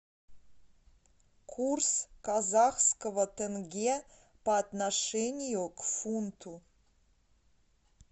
курс казахского тенге по отношению к фунту